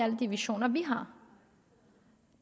alle de visioner vi har